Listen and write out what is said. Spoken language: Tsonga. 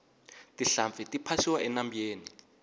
tinhlampfi ti phasiwa enambyeni